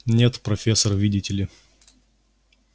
нет профессор видите ли